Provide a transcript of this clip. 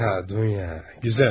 Hə Dunya, gözəl ha?